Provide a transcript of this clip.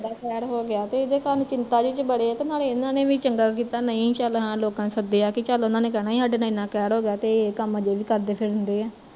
ਹੋਗਿਆ ਤੇ ਇਹਦੇ ਕਾਰਣ ਚਿੰਤਾ ਜਹੇ ਚ ਬੜੇ ਆ ਤੇ ਨਾਲੇ ਇਹਨਾਂ ਨੇ ਵੀ ਚੰਗਾ ਕੀਤਾ ਨਹੀਂ ਚੱਲ ਹਾਂ ਲੋਕਾਂ ਨੂੰ ਸੱਦਿਆ, ਨਹੀਂ ਓਹਨਾਂ ਨੇ ਕਹਿਣਾ ਸੀ ਚੱਲ ਸਾਡੇ ਨਾਲ਼ ਏਨਾਂ ਕਹਿਰ ਹੋਗਿਆ ਤੇ ਏਹ ਇਹਨਾਂ ਕੰਮਾ ਅਜੇ ਵੀ ਕਰਦੇ ਫਿਰਨ ਡਏ ਆ